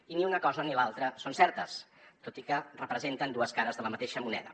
i ni una cosa ni l’altra són certes tot i que representen dues cares de la mateixa moneda